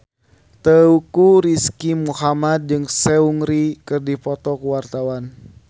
Teuku Rizky Muhammad jeung Seungri keur dipoto ku wartawan